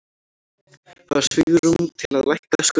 Hafa svigrúm til að lækka skuldir